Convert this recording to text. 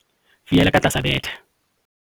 fiela ka tlasa bethe